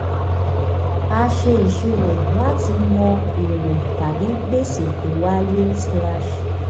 a ṣe ìṣirò láti mọ èrè tàbí gbèsè tó wáyé.